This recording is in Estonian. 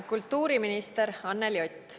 Kultuuriminister Anneli Ott.